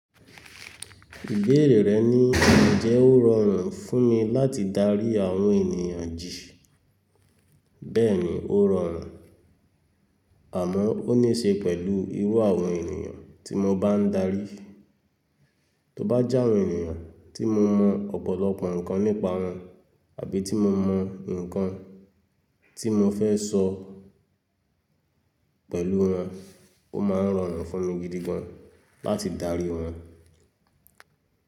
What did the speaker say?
Ìbéèrè rẹ ni Ǹjẹ́ ó rọrùn fún mi láti darí àwọn ènìyàn jì. Bẹ́ẹ̀ ni ó rọrùn, àmọ́ ó ní ṣe pẹ̀lú irú àwọn ènìyàn tí mo bá ń darí. Tó bá jẹ́ àwọn ènìyàn tí mo mọ̀ ọ̀pọ̀lọpọ̀ nǹkan nípa wọn àbí tí mo mọ̀ nǹkan tí mo fẹ́ sọ pẹ̀lú wọn, ó máa ń rọrùn fún mi gidi gan láti darí wọn.